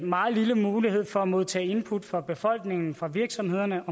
meget lille mulighed for at modtage input fra befolkningen og fra virksomhederne